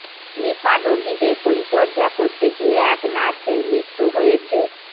নিপার রোগীদের পরিচর্যা করতে গিয়ে এক নার্সের মৃত্যু হয়েছে